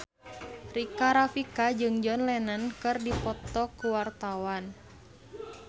Rika Rafika jeung John Lennon keur dipoto ku wartawan